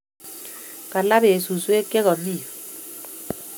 Kalaa peek suswek che kami yu